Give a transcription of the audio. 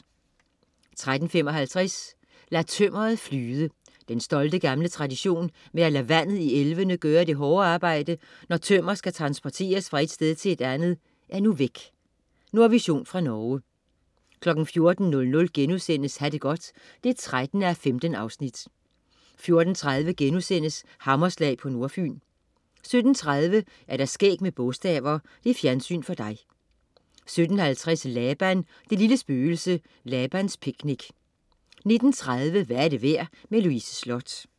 13.55 Lad tømmeret flyde. Den stolte gamle tradition med at lade vandet i elvene gøre det hårde arbejde, når tømmer skal transporteres fra et sted til et andet, er nu væk. Nordvision fra Norge 14.00 Ha' det godt 13:15* 14.30 Hammerslag på Nordfyn* 17.30 Skæg med bogstaver. Fjernsyn for dig 17.50 Laban, det lille spøgelse. Labans picnic 19.30 Hvad er det værd? Louise Sloth